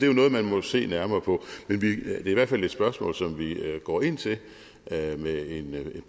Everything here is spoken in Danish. jo noget man må se nærmere på men det er i hvert fald et spørgsmål som vi går ind til med en